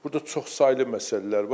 Burda çoxsaylı məsələlər var.